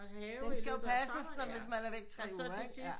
Have her og så til sidst